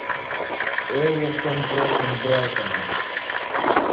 эвертон против брайтона